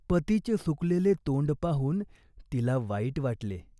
पतीचे सुकलेले तोंड पाहून तिला वाईट वाटले.